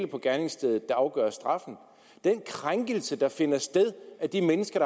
på gerningsstedet der afgør straffen den krænkelse der finder sted af de mennesker